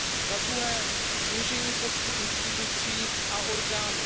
Za druhé, snížení počtu institucí a orgánů.